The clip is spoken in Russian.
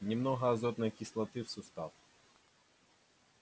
немного азотной кислоты в сустав